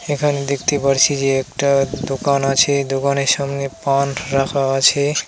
এখানে দেখতে পারছি যে একটা দোকান আছে দোকানের সামনে পান রাখা আছে।